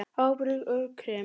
Áburður og krem